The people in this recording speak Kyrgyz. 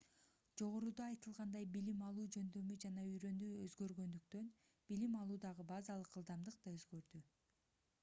жогоруда айтылгандай билим алуу жөндөмү жана үйрөнүү өзгөргөндүктөн билим алуудагы базалык ылдымдык да өзгөрдү